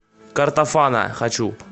картофана хочу